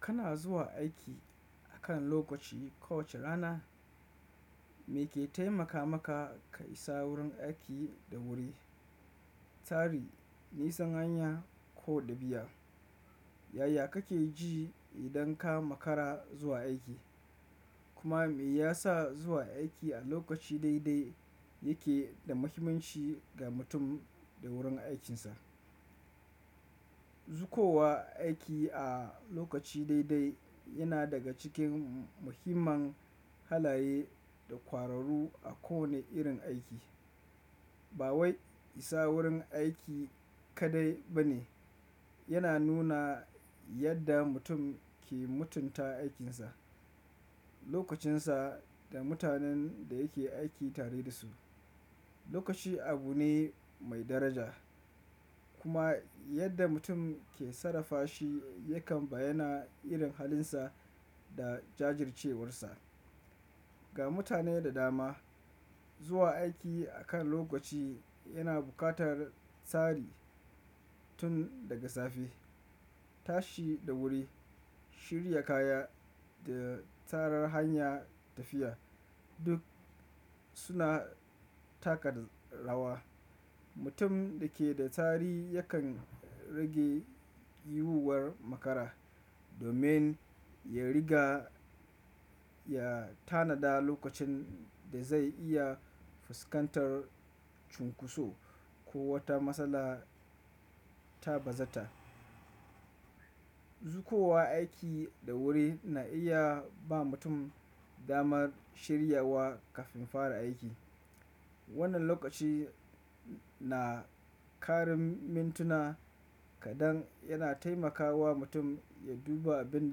Kana zuwa aiki akan lokaci kowace rana, me ke taimaka maka ka isa wurin aiki da wuri, tsari, nisan hanya ko ɗabi'a. Yaya kake ji idan ka makara zuwa aiki? Kuma me yasa zuwa aiki a lokaci daidai yake da muhimmanci ga mutum da wurin aikinsa? Zukowa aiki a lokaci daidai yana daga cikin muhimman halaye da kwararu a kowane irin aiki. Ba wai isa wurin aiki kaɗai ba ne, yana nuna yadda mutum ke mutunta aikinsa, lokacinsa da mutanen da yake aiki tare da su. Lokaci abu ne mai daraja kuma yadda mutum ke sarrafa shi yakan bayyana irin halinsa da jajjircewarsa. Ga mutane da dama, zuwa aiki akan lokaci yana buƙatar tsari tun daga safe. Tashi da wuri, shirya kaya da tarar hanya tafiya duk suna taka rawa. Mutum da ke da tsari yakan rage yiwuwar makara domin ya riga ya tanada lokacin da zai iya fuskantar cunkoso ko wata matsala ta bazata. Zukowa aiki da wuri na iya ba mutum damar shirya wa kafin fara aiki. Wannan lokaci na ƙarin mintuna kaɗan yana taimakawa mutum ya duba abin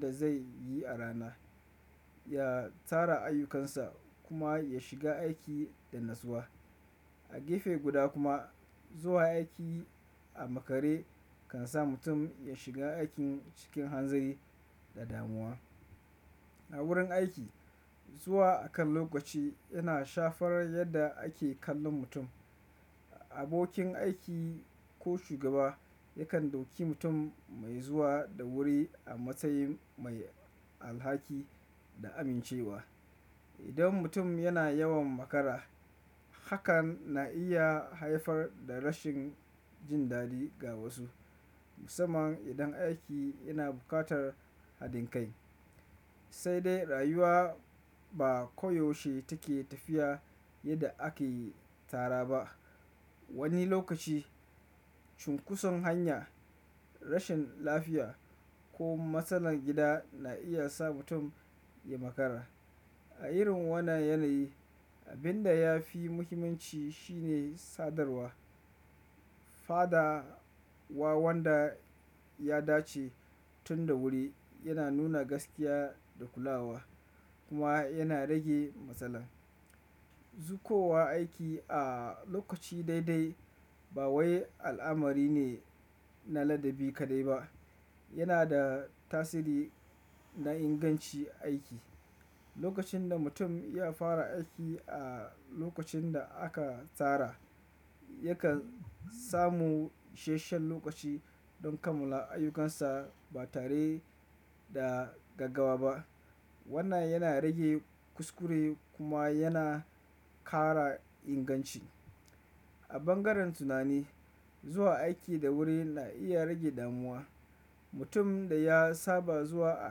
da zai yi a rana, ya tara ayyukansa kuma ya shiga aiki da natsuwa. A gefe guda kuma, zuwa aiki a makare kan sa mutum ya shiga aikin cikin hanzari da damuwa. A wurin aiki, zuwa akan lokaci yana shafar yadda ake kallon mutum. Abokin aiki ko shugaba yakan dauki mutum mai zuwa da wuri a matsayin mai alhaki da amincewa. Idan mutum yana yawan makara, hakan na iya haifar da rashin jin daɗi ga wasu. Musamman idan aiki yana buƙatar haɗin kai. Sai dai rayuwa ba koyaushe take tafiya yadda ake tara ba. Wani lokaci cunkoson hanya, rashin lafiya ko matsalar gida na iya sa mutum ya makara. A irin wannan yanayi, abin da ya fi muhimmanci shine sadarwa. Fada wa wanda ya dace tun da wuri yana nuna gaskiya da kulawa kuma yana rage matsala. Zukowa aiki a lokaci daidai ba wai al'amari ne na ladabi kaɗai ba, yana da tasiri na ingancin aiki. Lokacin da mutum ya fara aiki a lokacin da aka tsara, yakan samu ishashen lokaci don kammula ayyukansa ba tare da gaggawa ba. Wannan yana rage kuskure kuma yana ƙara inganci. A bangaren tunani, zuwa aiki da wuri na iya rage damuwa. Mutum da ya saba zuwa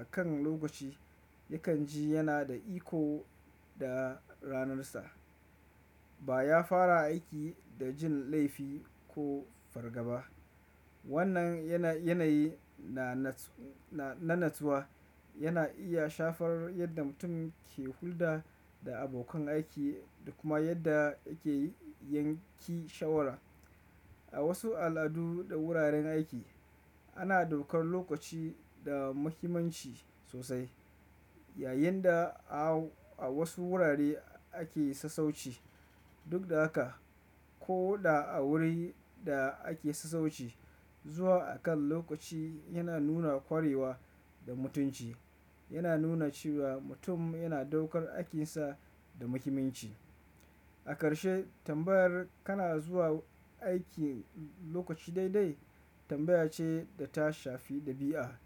akan lokaci yakan ji yana da iko da ranarsa, ba ya fara aiki da jin laifi ko fargaba. Wannan yanayi na natsuwa yana iya shafar yadda mutum ke hulɗa da abokan aiki da kuma yadda yake yanke shawara. A wasu al'adu da wuraren aiki, ana ɗaukar lokaci da muhimmanci sosai, yayin da a wasu wurare ake sassauci duk da haka. Ko da a wurin da ake sassauci, zuwa akan lokaci yana nuna ƙwarewa da mutunci. Yana nuna cewa mutum yana ɗaukar aikinsa da muhimmanci. A karshe, tambayar kana zuwa aiki lokaci daidai tambaya ce da ta shafi ɗabi'a.